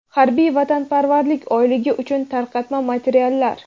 "Harbiy vatanparvarlik oyligi" uchun tarqatma materiallar.